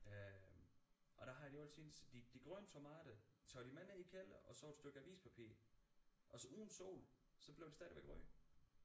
Øh og der har de altid de de grønne tomater tager de med ned i kælderen og så et stykke avispapir altså uden sol så blev de stadigvæk røde